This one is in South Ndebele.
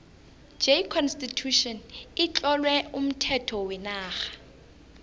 j constitution itlowe umthetho wenarha